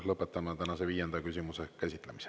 Lõpetame tänase viienda küsimuse käsitlemise.